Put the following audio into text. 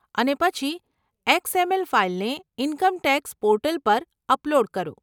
અને પછી એક્સએમએલ ફાઈલને ઇન્કમ ટેક્સ પોર્ટલ પર અપલોડ કરો.